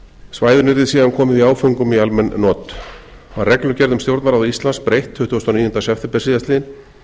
svæðinu yrði síðan komið í áföngum í almenn not var reglugerð um stjórnarráð íslands breytt tuttugasta og níunda september síðastliðinn